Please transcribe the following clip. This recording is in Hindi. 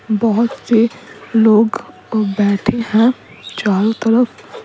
बहुत से लोग बैठे हैं चारों तरफ--